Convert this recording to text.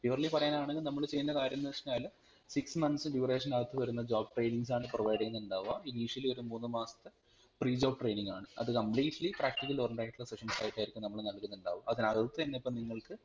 purely പറയാനാണെങ്കിൽ നമ്മൾ ചെയ്യുന്ന കാര്യം എന്ന് വെച്ചഴിനാൽ six months duration അകത്തുവരുന്ന job trainings ആണ് provide ചെയ്യുന്നുണ്ടാവ initially ഒരു മൂന്ന് മാസത്തെ pre job training ആണ് അത് completely practical oriented sessions ആയിട്ടാണ് നമ്മൾ നല്കുന്നുണ്ടാവ അതിനാകത്തന്നെ ഇപ്പം നിങ്ങൾക്